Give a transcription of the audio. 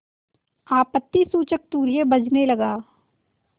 आपत्तिसूचक तूर्य बजने लगा